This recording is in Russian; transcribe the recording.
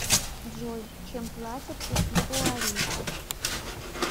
джой чем платят у ивуарийцев